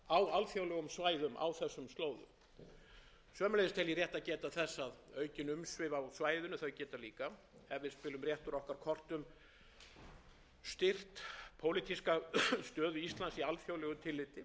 á þessum slóðum sömuleiðis tel ég rétt að geta þess að aukin umsvif á svæðinu geta líka ef við spilum rétt úr okkar kortum styrkt pólitíska stöðu íslands í alþjóðlegu tilliti til marks um það er áhugi ýmissa asíuþjóða eins og til dæmis